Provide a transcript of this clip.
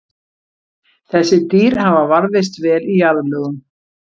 Þessi dýr hafa varðveist vel í jarðlögum.